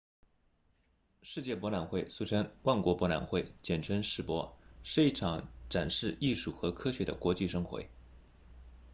世界博览会俗称万国博览会简称世博是一场展示艺术和科学的国际盛会